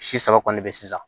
Si saba kɔni bɛ yen sisan